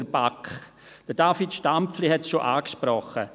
der BaK. David Stampfli hat es bereits angesprochen.